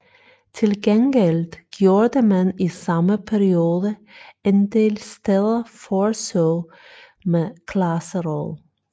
Til gengæld gjorde man i samme periode en del steder forsøg med klasseråd